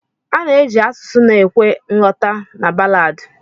Ana eji asụsụ na ekwe nghọta na ballad.